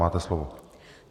Máte slovo.